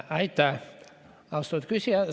Aitäh, austatud küsija!